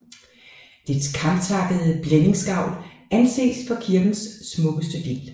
Dets kamtakkede blændingsgavl anses for kirkens smukkeste del